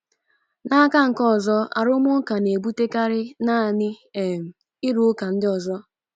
N'aka nke ọzọ, arụmụka na-ebutekarị naanị um ịrụka ndị ọzọ.